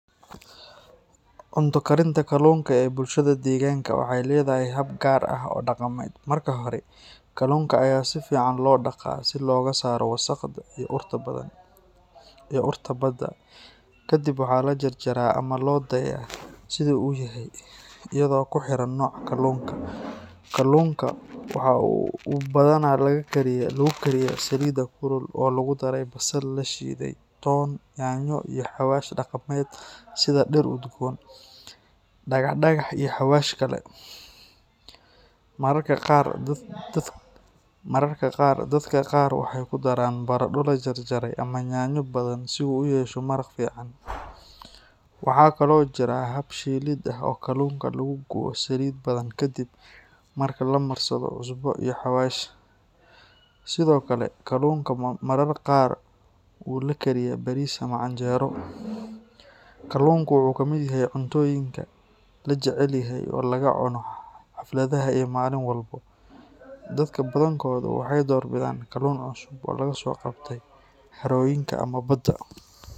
Cunto karinta kalluunka ee bulshada deegaanka waxay leedahay hab gaar ah oo dhaqameed. Marka hore, kalluunka ayaa si fiican loo dhaqaa si looga saaro wasakhda iyo urta badda. Kadib waxaa la jarjaraa ama loo daayaa sidii uu yahay, iyadoo ku xiran nooca kalluunka. Kalluunku waxa uu badanaa lagu kariyaa saliid kulul oo lagu daray basal la shiiday, toon, yaanyo, iyo xawaash dhaqameed sida dhir udgoon, dhagax-dhagax, iyo xawaash kale. Mararka qaar, dadka qaar waxay ku daraan baradho la jarjaray ama yaanyo badan si uu u yeesho maraq fiican. Waxaa kaloo jira hab shiilid ah oo kalluunka lagu gubo saliid badan kadib marka la marsado cusbo iyo xawaash. Sidoo kale, kalluunku mararka qaar wuu la kariyaa bariis ama canjeero. Kalluunku wuxuu ka mid yahay cuntooyinka la jecel yahay oo laga cuno xafladaha iyo maalin walba. Dadka badankoodu waxay doorbidaan kalluun cusub oo laga soo qabtay harooyinka ama badda.